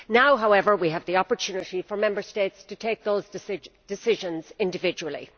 Now, however, we have the opportunity for Member States to take those decisions individually.